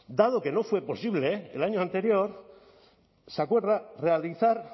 dado que no fue posible el año anterior se acuerda realizar